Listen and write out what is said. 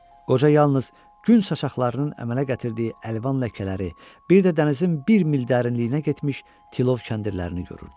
Qoca yalnız gün saçaqlarının əmələ gətirdiyi əlvan ləkələri, bir də dənizin bir mil dərinliyinə getmiş tilov kəndirlərini görürdü.